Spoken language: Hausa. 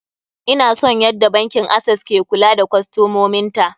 Ina son yadda bankin access ke kula da kostomomin ta.